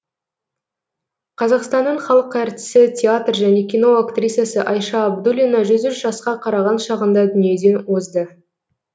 қазақстанның халық әртісі театр және кино актрисасы айша абдуллина жүз үш жасқа қараған шағында дүниеден озды